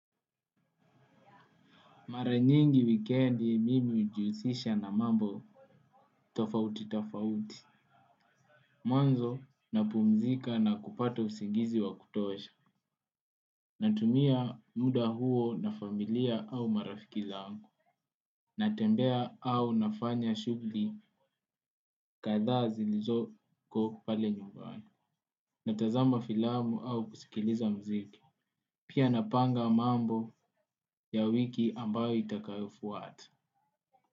Mara nyingi wikendi mimi ujuhusisha na mambo tofauti tafauti. Mwanzo na pumzika na kupata usingizi wa kutosha. Natumia muda huo na familia au marafiki zangu. Natembea au nafanya shugli katha zilizoko pale nyumbani. Natazama filamu au kusikiliza mziki. Pia napanga mambo ya wiki ambayo itakayofwata.